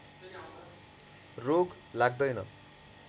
रोग लाग्दैन